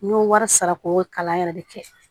N y'o wari sara ko kalan yɛrɛ de kɛ